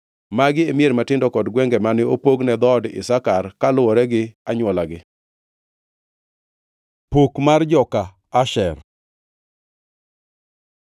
Magi e mier matindo kod gwenge mane opog ne dhood Isakar kaluwore gi anywolagi. Pok mar joka Asher